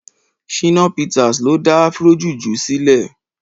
Shina Peters ló dá Afro juju silè